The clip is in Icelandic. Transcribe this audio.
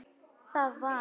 Þar var